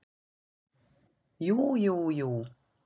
Jú, jú, jú.